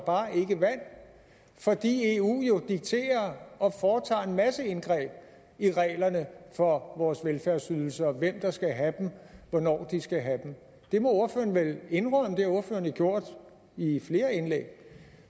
vand fordi eu jo dikterer og foretager en masse indgreb i reglerne for vores velfærdsydelser hvem der skal have dem og hvornår de skal have dem det må ordføreren vel indrømme det har ordføreren jo gjort i flere indlæg